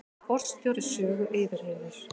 Forstjóri Sögu yfirheyrður